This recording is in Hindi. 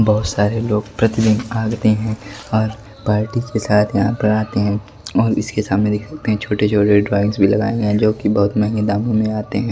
बहुत सारे लोग प्रतिदिन आगते हैं और पार्टी के साथ यहां पर आते हैं और इसके सामने देख सकते हैं छोटे-छोटे ड्राइंग्स भी लगाए हैं जो कि बहुत महंगे दामों में आते हैं।